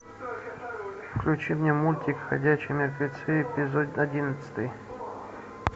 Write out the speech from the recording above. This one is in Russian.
включи мне мультик ходячие мертвецы эпизод одиннадцатый